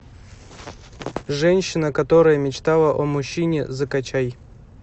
женщина которая мечтала о мужчине закачай